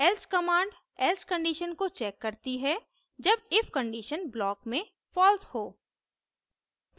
else command else condition को checks करती है जब if condition block में false हो